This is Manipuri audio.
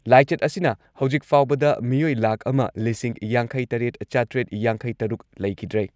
ꯂꯥꯏꯆꯠ ꯑꯁꯤꯅ ꯍꯧꯖꯤꯛ ꯐꯥꯎꯕꯗ ꯃꯤꯑꯣꯏ ꯂꯥꯈ ꯑꯃ ꯂꯤꯁꯤꯡ ꯌꯥꯡꯈꯩꯇꯔꯦꯠ ꯆꯥꯇ꯭ꯔꯦꯠ ꯌꯥꯡꯈꯩꯇꯔꯨꯛ ꯂꯩꯈꯤꯗ꯭ꯔꯦ ꯫